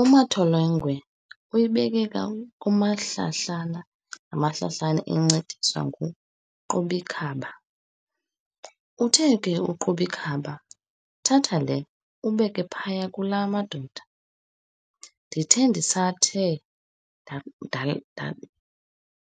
U"Matholengwe" uyibeke kumahlahlana ngamahlahlana encediswa ngu"Qobikhaba". uthe ku"Qobikhaba", "Thatha le, ubeke phaya kulaa madoda.". ndithe ndisathe